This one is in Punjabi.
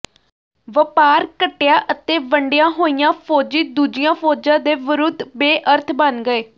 ਵਪਾਰ ਘਟਿਆ ਅਤੇ ਵੰਡੀਆਂ ਹੋਈਆਂ ਫੌਜੀ ਦੂਜੀਆਂ ਫ਼ੌਜਾਂ ਦੇ ਵਿਰੁੱਧ ਬੇਅਰਥ ਬਣ ਗਏ